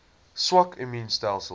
swak immuun stelsels